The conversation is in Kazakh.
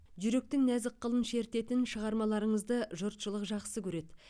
жүректің нәзік қылын шертетін шығармаларыңызды жұртшылық жақсы көреді